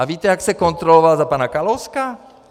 A víte, jak se kontrolovalo za pana Kalouska?